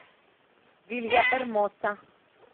вильяэрмоса